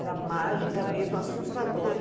Era mágica mesmo, assustadora.